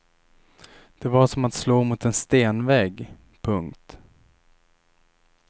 Det var som att slå mot en stenvägg. punkt